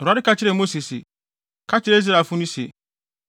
Awurade ka kyerɛɛ Mose se, “Ka kyerɛ Israelfo no se,